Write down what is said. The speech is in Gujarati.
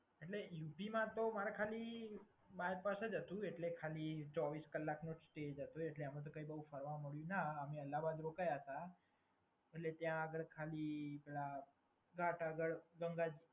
એટલે યુપીમાં તો મારે ખાલી બાયપાસ જ હતું એટલે ખાલી ચોવીસ કલાકનો જ સ્ટે હતો એટલે એમાં તો કઈ બોવ ફરવા ન મળ્યું, અમે અલહાબાદ રોકાયા હતા. એટલે ત્યાં આગળ ખાલી